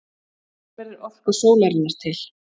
Hvernig verður orka sólarinnar til?